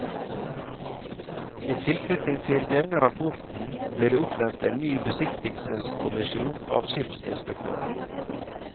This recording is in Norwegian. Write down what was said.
I tilknytning til denne rapporten ble det oppnevnt en ny besiktigelseskommisjon av skipsinspektøren.